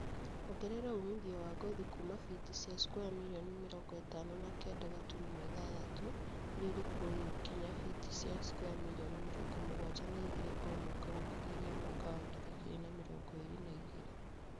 Ongerera umithio wa ngothi kuuma biti cia square mirioni mĩrongo ĩtano na kenda gaturumo ithathatũ iria irĩkuo rĩu nginya biti cia square mirioni mĩrongo mũgwanja na igĩrĩ o mwaka gũkinyĩria mwaka wa ngiri igĩrĩ na mĩrongo ĩrĩ na igĩrĩ